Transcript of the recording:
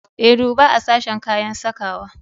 E, duba a sashen kayan sakawa.